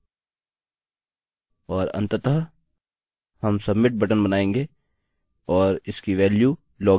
और अन्ततः हम submit बटन बनायेंगे और इसकी वेल्यू log in होगी